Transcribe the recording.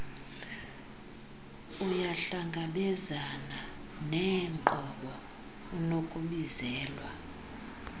uyahlangabezana neenqobo unokubizelwa